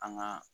An ga